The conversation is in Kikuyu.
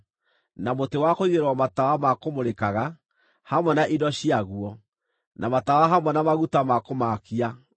na mũtĩ wa kũigĩrĩrwo matawa ma kũmũrĩkaga, hamwe na indo ciaguo, na matawa hamwe na maguta ma kũmaakia;